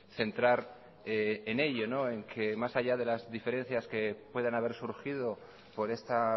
centrar en ello en que más allá de las diferencias que puedan haber surgido por esta